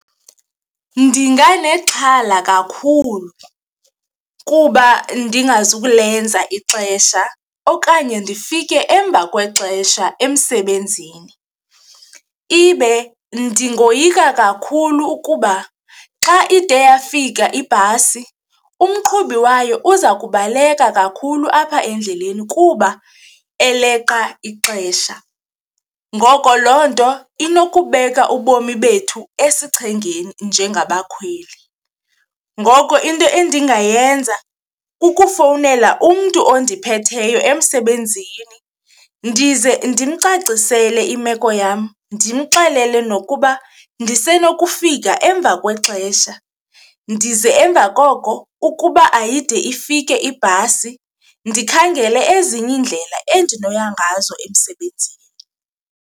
Ndinganexhala kakhulu kuba ndingazukulenza ixesha okanye ndifike emva kwexesha emsebenzini, ibe ndingoyika kakhulu ukuba xa ide yafika ibhasi umqhubi wayo uza kubaleka kakhulu apha endleleni kuba eleqa ixesha. Ngoko loo nto inokubeka ubomi bethu esichengeni njengabakhweli, ngoko into endingayenza kukufowunela umntu ondiphetheyo emsebenzini ndize ndimcacisele imeko yam, ndimxelele nokuba ndisenokufika emva kwexesha. Ndize emva koko ukuba ayide ifike ibhasi ndikhangele ezinye iindlela endinokuya ngazo emsebenzini.